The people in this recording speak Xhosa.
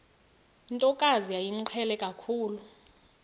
ntokazi yayimqhele kakhulu